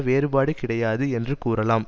வேறுபாடு கிடையாது என்று கூறலாம்